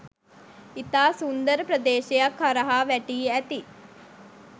ඉතා සුන්දර ප්‍රදේශයක් හරහා වැටී ඇති